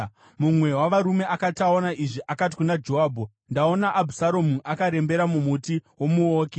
Mumwe wavarume akati aona izvi, akati kuna Joabhu, “Ndaona Abhusaromu akarembera mumuti womuouki.”